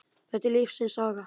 Það er lífsins saga.